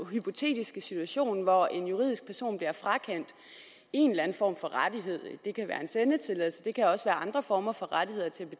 hypotetiske situation hvor en juridisk person bliver frakendt en eller anden form for rettighed det kan være en sendetilladelse det kan også være andre former for rettigheder til at